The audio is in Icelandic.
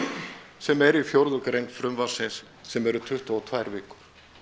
sem er í fjórðu grein frumvarpsins sem eru tuttugu og tvær vikur